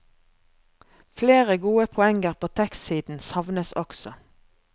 Flere gode poenger på tekstsiden savnes også.